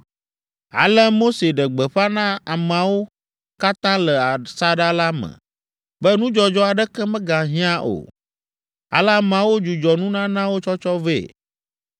Ale Mose ɖe gbeƒã na amewo katã le asaɖa la me be nudzɔdzɔ aɖeke megahiã o. Ale ameawo dzudzɔ nunanawo tsɔtsɔ vɛ,